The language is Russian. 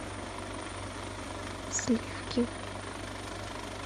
сливки